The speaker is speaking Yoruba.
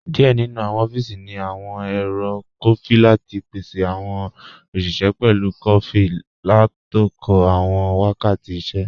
Díẹ̀ nínu awọn ọfíísì ní awọn èrò kọfí lati pèsè awọn oṣiṣẹ pẹ̀lú kọfí látòkò awọn wákàtì ìṣẹ̀.